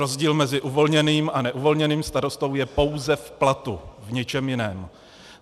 Rozdíl mezi uvolněným a neuvolněným starostou je pouze v platu, v ničem jiném.